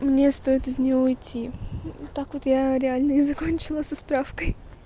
мне стоит из него уйти так вот я реально и закончила со справкой